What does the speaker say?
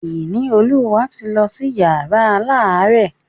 Ìníolúwa ti lọ sí yàrá alárẹ̀.